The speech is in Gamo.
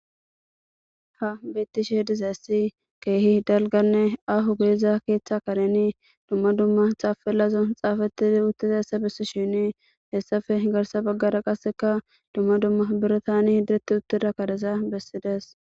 Ta beyizayisi duma duma ahone daligga ketha karen tapelayi xafeti utidayisa bessini haysape garissa baggara duma duma biratani qasheti utida barizafeti deyesi